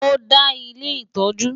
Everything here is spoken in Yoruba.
Ó dé ilé ìtọ́jú.